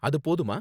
அது போதுமா?